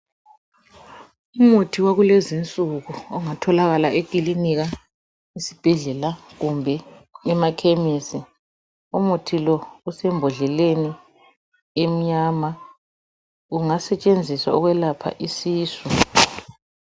Umuthi wakulezinsuku ongatholakala ekilinika esibhedlela kumbe emakhemesi. Umuthi lo usembodleleni emnyama. Ungasetshenziswa ukwelapha isisu.